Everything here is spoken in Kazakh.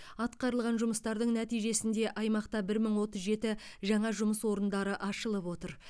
атқарылған жұмыстардың нәтижесінде аймақта бір мың отыз жеті жаңа жұмыс орындары ашылып отыр